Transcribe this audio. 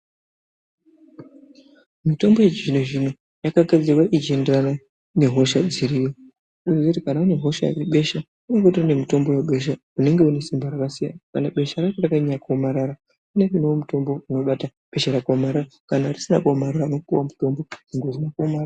Mitombo yechizvinozvino yakagadzirwa ichienderana ne hosha dziriyo toziye kuti kana une hosha yebesha kunenge kutori nemutombo webesha unenge unesimba rakasiyana kana besha racho rakanyanya kuomarara unopuwewo mutombo unobate besha rakaomarara kana risina kuomarara unopuwawo mutombo webesha rakadaro.